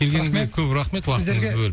келгеніңізге көп рахмет уақытыңызды бөліп